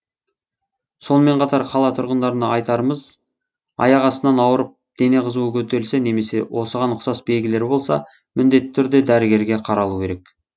сонымен қатар қала тұрғындарына айтарымыз аяқ астынан ауырып дене қызуы көтерілсе немесе осыған ұқсас белгілері болса міндетті түрде дәрігерге қаралу керек